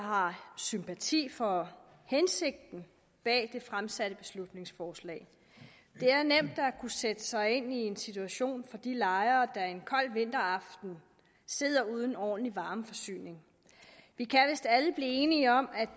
har sympati for hensigten bag det fremsatte beslutningsforslag det er nemt at sætte sig ind i en situation for de lejere der en kold vinteraften sidder uden ordentlig varmeforsyning vi kan vist alle blive enige om at